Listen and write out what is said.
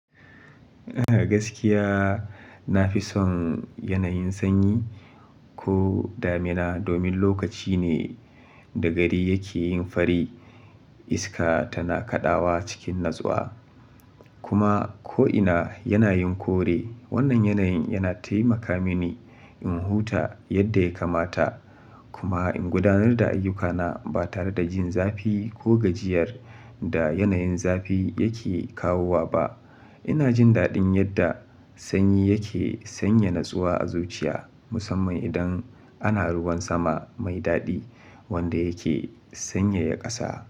Eh gaskiya na fi son yanayin sanyi ko damina domin lokaci ne da gari yake yin fari iska tana kaɗawa cikin natsuwa kuma ko'ina yana yin kore. Wannan yanayin yana taimaka mini in huta yadda ya kamata kuma in gudanar da ayyukana ba tare da jin zafi ko gajiyar da yanayin zafi yake kawo ba. Ina jin daɗin yadda sanyi yake sanya natsuwa a zuciya musamman idan ana ruwan sama mai daɗi wanda yake sanyaya ƙasa.